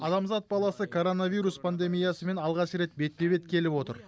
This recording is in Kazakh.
адамзат баласы коронавирус пандемиясымен алғаш рет бетпе бет келіп отыр